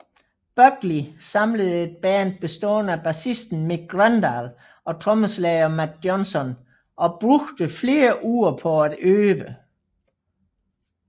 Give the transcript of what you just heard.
Buckley samlede et band bestående af bassisten Mick Grøndahl og trommeslager Matt Johnson og brugte flere uger på at øve